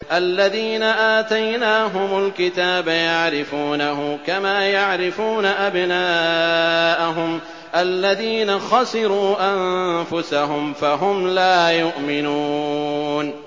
الَّذِينَ آتَيْنَاهُمُ الْكِتَابَ يَعْرِفُونَهُ كَمَا يَعْرِفُونَ أَبْنَاءَهُمُ ۘ الَّذِينَ خَسِرُوا أَنفُسَهُمْ فَهُمْ لَا يُؤْمِنُونَ